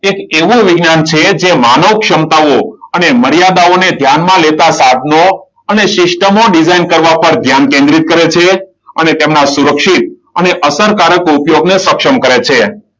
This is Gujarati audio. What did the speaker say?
એ એવું વિજ્ઞાન છે જે માનવ ક્ષમતાઓ અને મર્યાદાઓને ધ્યાનમાં લેતા સાધનો અને સિસ્ટમો ડિઝાઇન કરવા પર ધ્યાન કેન્દ્રિત કરે છે. અને તેમના સુરક્ષિત અને અસરકારક ઉદ્યોગને સક્ષમ કરે છે.